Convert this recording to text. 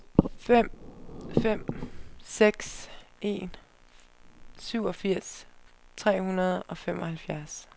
fem fem seks en syvogfirs tre hundrede og femoghalvfjerds